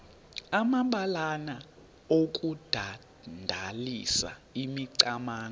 amabalana okudandalazisa imicamango